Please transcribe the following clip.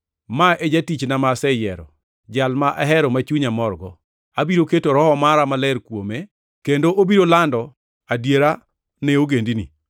“Ma e jatichna ma aseyiero, Jal ma ahero ma chunya morgo. Abiro keto Roho Maler mara kuome, kendo obiro lando adiera ne ogendini.